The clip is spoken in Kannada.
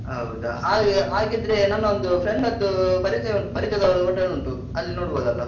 ಹೌದ. ಹಾಗೆ ಹಾಗಿದ್ರೆ ನನ್ನ ಒಂದು friend ದ್ದು ಪರಿಚಯ ಉಂಟು ಪರಿಚಯದವ್ರದ್ದು hotel ಉಂಟು. ಅಲ್ಲಿ ನೋಡ್ಬೋದಲ್ಲ?